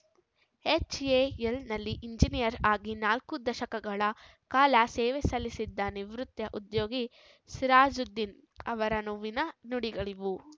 ಎಚ್‌ಎಎಲ್‌ನಲ್ಲಿ engineer ಆಗಿ ನಾಲ್ಕು ದಶಕಗಳ ಕಾಲ ಸೇವೆ ಸಲ್ಲಿಸಿದ ನಿವೃತ್ತ ಉದ್ಯೋಗಿ ಸಿರಾಜುದ್ದೀನ್‌ ಅವರ ನೋವಿನ ನುಡಿಗಳಿವು